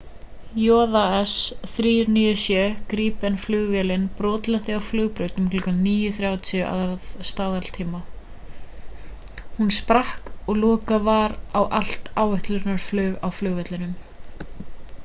jas 39c gripen-flugvélin brotlenti á flugbraut um klukkan 9:30 að staðartíma 02:30 utc. hún sprakk og lokað var á allt áætlunarflug á flugvellinum